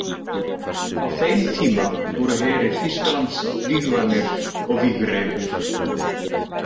Á þeim tíma voru herir Þýskalands vígvanir og vígreifir.